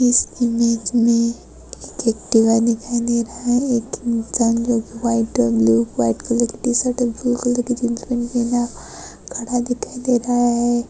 इस इमेज मे एक एक्टीवा दिखाई दे रहा है एकदम व्हाईट अंड ब्लू कलर खड़ा दिखाई दे रहा है।